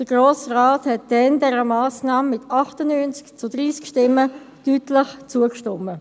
Der Grosse Rat stimmte dieser Massnahme damals mit 98 zu 30 Stimmen deutlich zu.